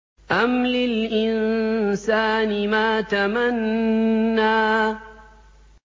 أَمْ لِلْإِنسَانِ مَا تَمَنَّىٰ